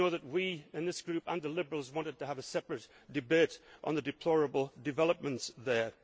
We in this group, and the Liberals, wanted to have a separate debate on the deplorable developments